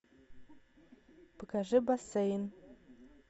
покажи бассейн